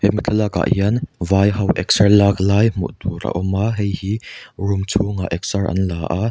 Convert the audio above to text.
hemi thlalâkah hian vai ho eksar lâk lai hmuh tûr a awm a hei hi rûm chhûngah eksar an la a.